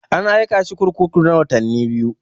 An aika shi kurkuku na watanni biyu.